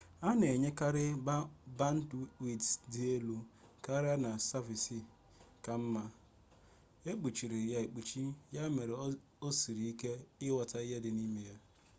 ha na-enyekarị bandwidth dị elu karịa na saviisi ka mma ekpuchiri ha ekpuchi ya mere o siri ike inyota ihe dị ha n'ime